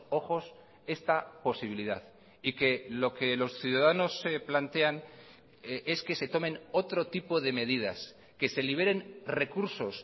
ojos esta posibilidad y que lo que los ciudadanos se plantean es que se tomen otro tipo de medidas que se liberen recursos